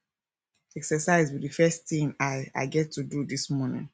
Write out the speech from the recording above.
exercise be the first thing i i get to do dis morning